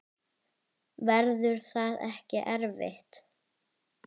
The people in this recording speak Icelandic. Verður það ekki erfitt?